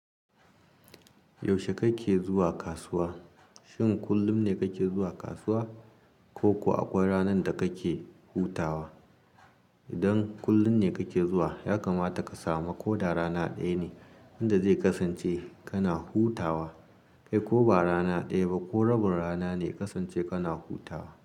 Yaushe kake zuwa kasuwa? Shin kullum ne kake zuwa kasuwa ko kuwa akwai ranar da kake hutawa? Idan kullum ne kake zuwa, ya kamata ka samu ko da rana ɗaya ne inda zai kasance kana hutawa. Kai ko ba rana ɗaya ba ko rabin rana ne kasance kana hutawa.